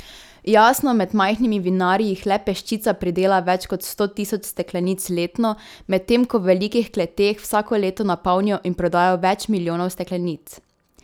Jasno, med majhnimi vinarji jih le peščica pridela več kot sto tisoč steklenic letno, medtem ko v velikih kleteh vsako leto napolnijo in prodajo več milijonov steklenic.